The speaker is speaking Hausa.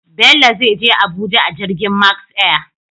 Bello zai Je Abuja a jirgin Max Air